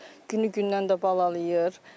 Günü-gündən də balalayır.